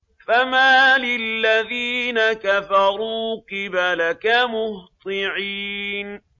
فَمَالِ الَّذِينَ كَفَرُوا قِبَلَكَ مُهْطِعِينَ